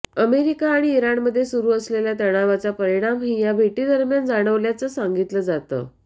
America आणि इराणमध्ये सुरू असलेल्या तणावाचा परिणाही या भेटीदरम्यान जाणवल्याचं सांगितलं जात